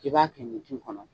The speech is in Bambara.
I b'a kɛ ɲintin kɔnɔ